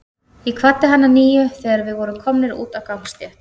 Ég kvaddi hann að nýju, þegar við vorum komnir út á gangstétt.